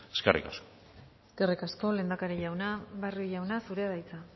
eskerrik asko eskerrik asko lehendakari jauna barrio jauna zurea da hitza